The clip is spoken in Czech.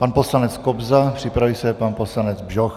Pan poslanec Kobza, připraví se pan poslanec Bžoch.